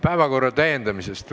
Päevakorra täiendamisest.